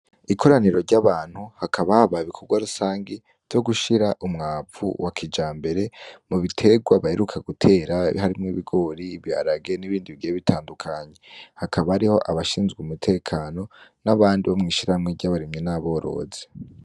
Ikoraniro ry'abantu hakaba habaye ibikorwa vya rusangi vyo gushira umwavu wa kija mbere mu biterwa baheruka gutera harimwo ibigori ibiharage n'ibindi bigiye bitandukanye hakaba ariho abashinzwe umutekano n'abandi bo mw'ishiramwe ry'abarimyi n'aborozi.